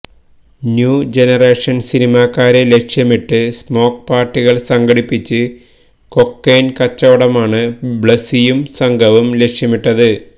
new generation സിനിമാക്കാരെ ലക്ഷ്യമിട്ട് smoke പാർട്ടികൾ സംഘടിപ്പിച്ച് കൊക്കൈൻ കച്ചവടമാണ് ബ്ലസിയും സംഘവും ലക്ഷ്യമിട്ടത്